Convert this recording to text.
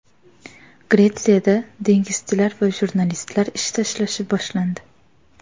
Gretsiyada dengizchilar va jurnalistlar ish tashlashi boshlandi.